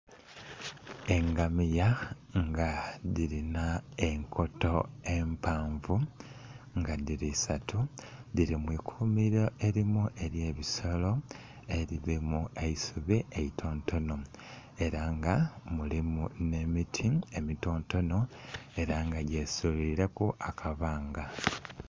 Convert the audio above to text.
Engamiya nga dhilina enkoto empanvu nga dhili isatu dhili mu ikumiro erimu ely'ebisolo elirimu eisubi eitontono ela nga mulimu nh'emiti emitontono ela nga gyeswireku akabanga.